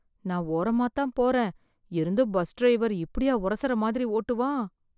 நான் ஓரமா தான் போறேன், இருந்தும் பஸ் டிரைவர் இப்படியா உரசற மாதிரி ஓட்டுவான்?